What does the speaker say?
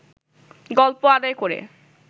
গল্প আদায় করে